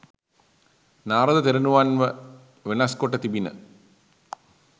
නාරද තෙරණුවන්ව වෙනස් කොට තිබිණ